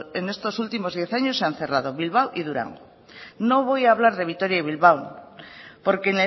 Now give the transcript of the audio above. en estos últimos diez años se han cerrado bilbao y durango no voy a hablar de vitoria y bilbao porque